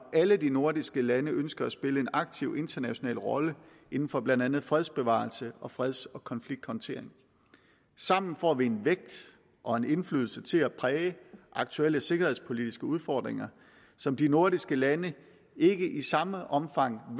alle de nordiske lande ønsker at spille en aktiv international rolle inden for blandt andet fredsbevarelse og freds og konflikthåndtering sammen får vi en vægt og en indflydelse til at præge aktuelle sikkerhedspolitiske udfordringer som de nordiske lande ikke i samme omfang